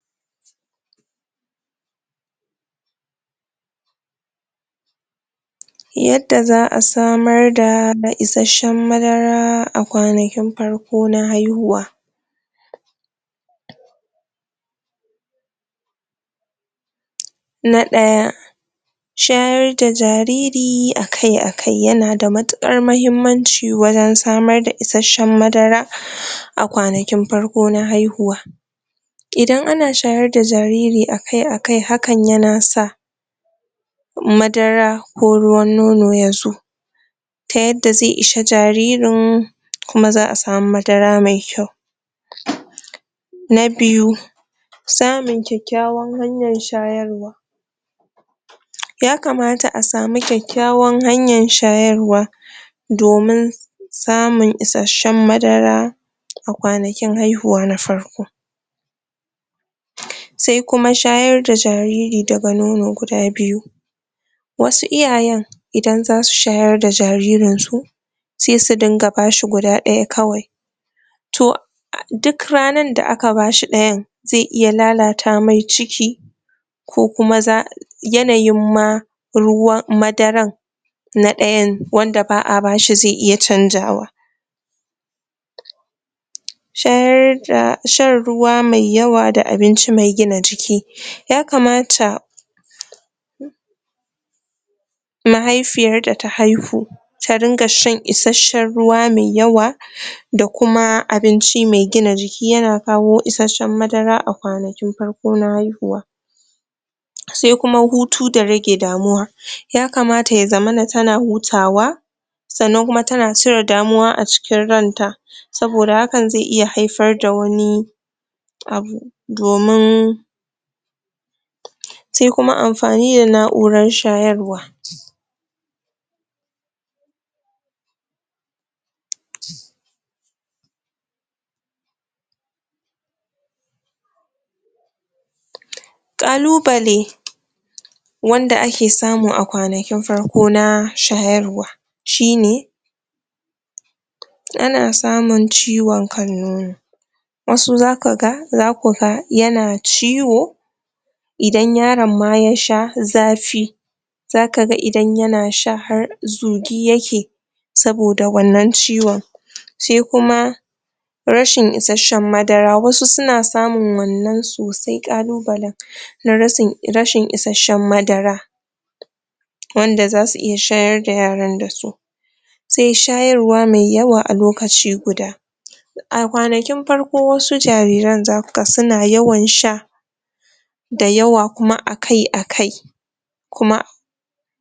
yada za'a samar da isheshen madara a kwanakin farko na haihuwa na ɗaya shayar da jariri akai-akai yana da mutukar muhimmanci wajan samr da isheshen madara a kwanakin farko na haihuwa idan ana shayar da jariri akai akai, hakan yana sa madara ko ruwan nono yazo ta yadda ze ishe jaririn kuma za'a samu madara mai kyau na biyu samun kyakyawan hanyar shayarwa ya kamata a samu kyakyawan hanyan shayarwa domin samun isheshen madara a kwanakin haihuwa na farko sai kuma shayar da jariri daga nono guda biyu wasu iyayen idan zasu shayar da jaririnsu se su dinga bashi guda ɗaya kawai toh duk ranar da aka bashi ɗayan ze iya lalata mai ciki ko kuma za, yanayin ma ruwan madaran na ɗayan wanda ba'a bashi ze iya canjawa shayar da, shan ruwa mai yawa da abinci mai gina jiki ya kamata mahaifiyar da ta haihu ta dinga shan isheshen ruwa me yawa da kuma abinci me gina jiki, yana kawo isheshen madara a kwanakin farko na haihuwa se kuma hutu da rage damuwa ya kamata ya zamana tana hutawa sannan kuma tana cire damuwa a cikin ranta saboda hakan ze iya haifar da wani abu domin sai kuma amfni da nau'ran shayarwa kalubale wanda ake samun a kwanakin farko na shayarwa shine ana samun ciwon kan nono wasu za kaga. za kuga yana ciwo idan yaron ma ya sha, zafi za kaga idan yana sha, har zugi yake saboda wannan ciwon se kuma rashin isashen madara, wasu suna samun wannan sosai kalubalan na rashin isashen madara wanda zasu iya shayar da yaran da su sai shayarwa me yawa a lokaci guda a kwanakin farko wasu jariran za kaga suna yawan sha dayawa kuma akai-akai kuma